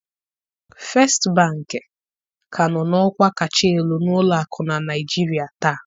First bank ka nọ n'ọkwa kacha elu n'ụlọakụ na Naịjirịa taa